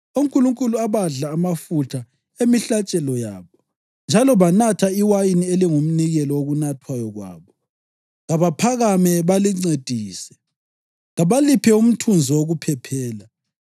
onkulunkulu abadla amafutha emihlatshelo yabo njalo banatha iwayini elingumnikelo wokunathwayo kwabo? Kabaphakame balincedise! Kabaliphe umthunzi wokuphephela!